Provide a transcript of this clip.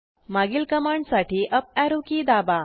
मागील कमांड साठी up arrow key दाबा